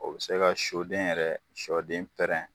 O be se ga suden yɛrɛ sɔden pɛrɛn